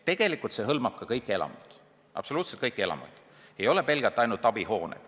Tegelikult see hõlmab ka kõiki elamuid, absoluutselt kõiki elamuid, ei ole pelgalt ainult abihooned.